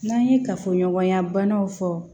N'an ye kafoɲɔgɔnya banaw fɔ